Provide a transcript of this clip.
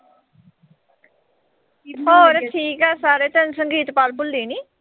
ਹੋਰ ਠੀਕ ਆ ਸਾਰੇ। ਤੈਨੂੰ ਸੰਗੀਤ ਕੌਰ ਭੁੱਲੀ ਨੀਂ।